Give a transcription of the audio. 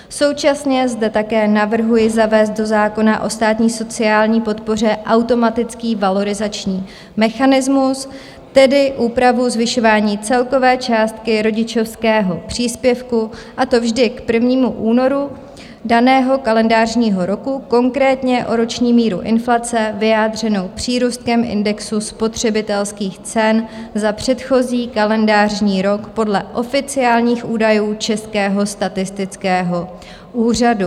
Současně zde také navrhují zavést do zákona o státní sociální podpoře automatický valorizační mechanismus, tedy úpravu zvyšování celkové částky rodičovského příspěvku, a to vždy k 1. únoru daného kalendářního roku, konkrétně o roční míru inflace, vyjádřenou přírůstkem indexu spotřebitelských cen za předchozí kalendářní rok podle oficiálních údajů Českého statistického úřadu.